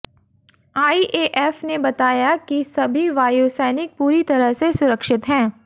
IAF ने बताया है कि सभी वायुसैनिक पूरी तरह से सुरक्षित हैं